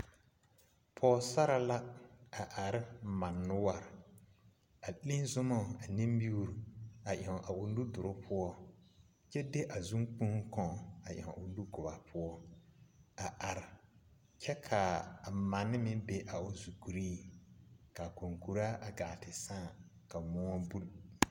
Pɔɔsare la are mane noɔre a leŋ zunoo ane miire a eŋ a nu duruŋ poɔ kyɛ de a zuŋkpoŋ kaŋ a ɛŋ o nugɔbaa poɔ a are kyɛ ka a mane meŋ be a o zukuriŋ kaa kɔkuraa a gaa ti sãã ka moɔ buli.